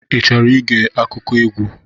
I chọrọ ige akụkọ egwu?